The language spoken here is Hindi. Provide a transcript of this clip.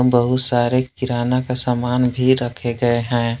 बहुत सारे किराना दुकान का सामान भी रखे गए हैं।